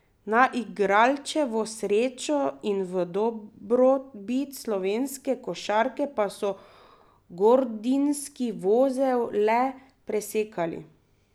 Na igralčevo srečo in v dobrobit slovenske košarke pa so gordijski vozel le presekali.